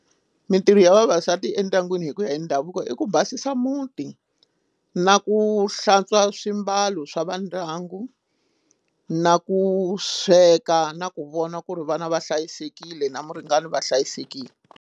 Mitirho ya vavasati endyangwini hi ku ya hi ndhavuko i ku basisa muti na ku hlantswa swimbalo swa va ndyangu na ku sweka na ku vona ku ri vana va hlayisekile na muringani va hlayisekile.